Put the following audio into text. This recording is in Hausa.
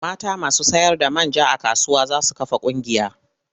Mata masu sayarda man ja a kasuwa za su kafa ƙungiya.